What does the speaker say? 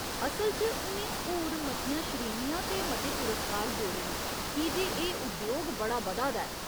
असल च उ'नें होर मतियां श्रेणियां ते मते पुरस्कार जोड़े न की जे एह् उद्योग बड़ा बधा दा ऐ।